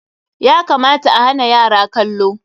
Ya kamata a hana yara kallo.